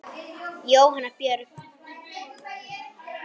Jóhanna Björg.